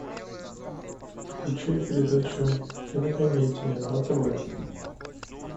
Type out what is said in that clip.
включай передачу кинокомедия на тв